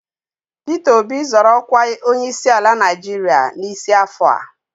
Pita Obi zọrọ ọkwa onyeisiala Naịjirịa n'isi afọ a